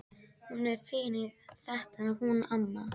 Hún er fín í þetta hún amma.